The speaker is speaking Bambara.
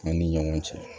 An ni ɲɔgɔn cɛ